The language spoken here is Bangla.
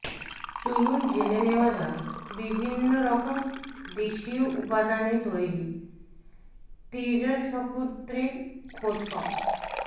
চলুন জেনে নেওয়া যাক বিভিন্নরকম দেশীয় উপাদানে তৈরি তৈজসপত্রের খোঁজখবর